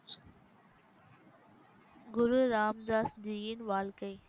குரு ராம்தாஸ்ஜியின் வாழ்க்கை